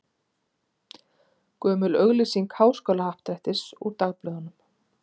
Gömul auglýsing Háskólahappdrættis úr dagblöðum.